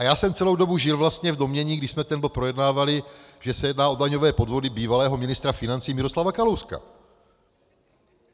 A já jsem celou dobu žil vlastně v domnění, když jsme ten bod projednávali, že se jedná o daňové podvody bývalého ministra financí Miroslava Kalouska.